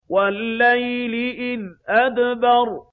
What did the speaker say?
وَاللَّيْلِ إِذْ أَدْبَرَ